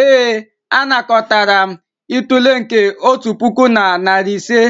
ee, M anakọtara itule nke otu puku na narị ise